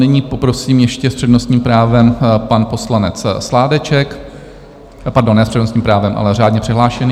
Nyní poprosím ještě - s přednostním právem pan poslanec Sládeček, pardon, ne s přednostním právem, ale řádně přihlášený.